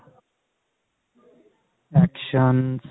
action